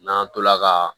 N'an tola ka